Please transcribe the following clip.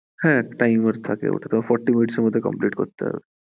হ্যাঁ time আছে! forty minutes এ complete করতে হবে।